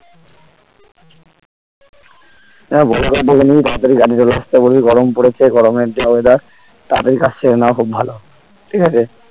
আহ বড়ো কর দেখে নিবি তাড়াতাড়ি গাড়ির ব্যবস্থা করবি গরম পড়েছে গরমের যা weather তাড়াতাড়ি কাজ সেরে নেওয়া খুব ভালো ঠিক আছে